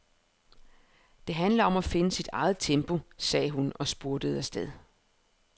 Det handler om at finde sit eget tempo, sagde hun og spurtede afsted.